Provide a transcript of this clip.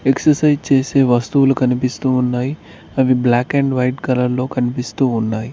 Exercise చేసే వస్తువులు కనిపిస్తూ ఉన్నాయి అవి బ్లాక్ అండ్ వైట్ కలర్ లో కనిపిస్తూ ఉన్నాయి.